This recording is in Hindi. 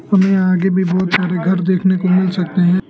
और आगे में बहुत सारे घर देखने को मिल सकते हैं।